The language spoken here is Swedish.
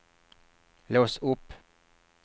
lås upp